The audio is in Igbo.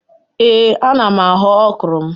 Ee ana m aghọ ọkrọ m